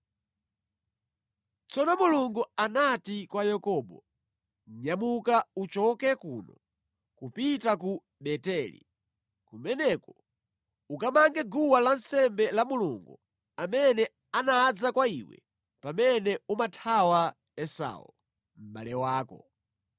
Tsono Mulungu anati kwa Yakobo, “Nyamuka uchoke kuno kupita ku Beteli. Kumeneko ukamange guwa lansembe la Mulungu amene anadza kwa iwe pamene umathawa Esau, mʼbale wako.”